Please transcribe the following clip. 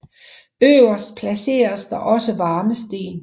Øverst placeres der også varme sten